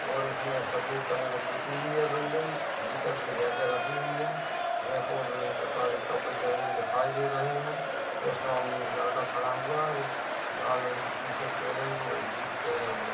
और इसमे सफ़ेद कलर से पुती हुई है बिल्डिंग इधर से रॅका रखी हुई है मे काले कपड़े जमे हुए दिखाई दे रहे है और सामने एक लड़का खड़ा हुआ है लाल रंग की टी-शर्ट पहने हुए और जीन्स पहने हुए।